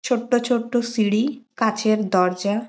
ছোট্ট ছোট্ট সিঁড়ি কাঁচের দরজা--